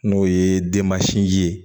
N'o ye denmasin ye